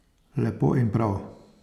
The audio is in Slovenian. Lepo in prav.